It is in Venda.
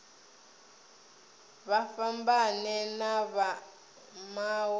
vha fhambane na vha mawe